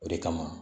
O de kama